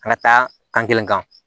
An ka taa kan kelen kan